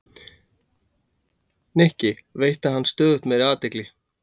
Nikki, veitti henni stöðugt meiri athygli.